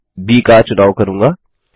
मैं ब की चुनाव करूँगा